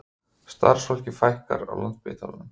Starfsfólki fækkar á Landspítalanum